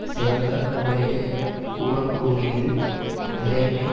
சிறந்த முறையில் கூறக்கூடியது நிலைமை